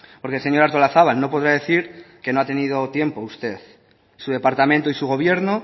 porque señora artolazabal no podrá decir que no ha tenido tiempo usted su departamento y su gobierno